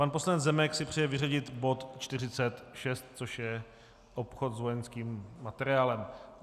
Pan poslanec Zemek si přeje vyřadit bod 46, což je obchod s vojenským materiálem.